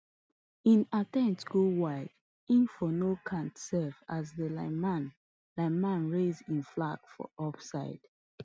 hin attempt go wide hin for no count sef as di lineman lineman raise hin flag for offside